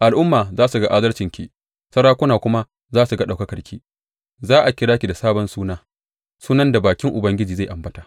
Al’ummai za su ga adalcinki, sarakuna kuma za su ga ɗaukakarki; za a kira ki da sabon suna sunan da bakin Ubangiji zai ambata.